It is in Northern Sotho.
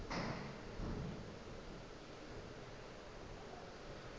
mang le mang yo a